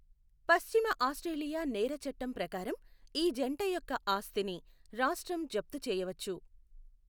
పశ్చిమ ఆస్ట్రేలియా నేర చట్టం ప్రకారం, ఈ జంట యొక్క ఆస్తిని రాష్ట్రం జప్తు చేయవచ్చు.